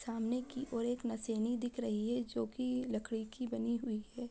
सामने की ओर एक दिख रही है जो कि लकड़ी की बनी हुई है।